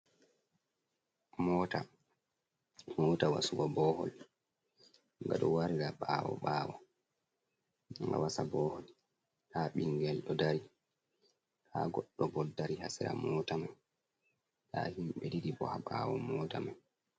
Mota, mota wasugo bohol gado warda bawo ɓawo ga wasa bohol, da bingel do dari ha goɗɗo bodo dari hasira mota man ta himɓe ɗidi bo ha bawo mota man.